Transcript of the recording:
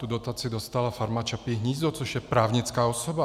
Tu dotaci dostala Farma Čapí hnízdo, což je právnická osoba.